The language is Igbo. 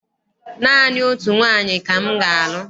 Naanị otu nwaanyị ka m ga-alụ.